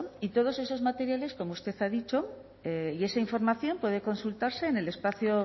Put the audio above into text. y todos esos materiales como usted ha dicho y esa información puede consultarse en el espacio